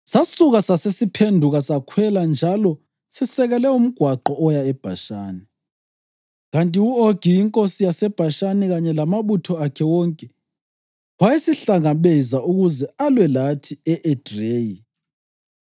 “Sasuka sasesiphenduka sakhwela njalo sisekele umgwaqo oya eBhashani, kanti u-Ogi inkosi yaseBhashani kanye lamabutho akhe wonke wayesihlangabeza ukuze alwe lathi e-Edreyi.